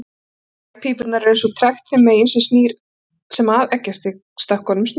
Legpípurnar eru eins og trekt þeim megin sem að eggjastokkunum snýr.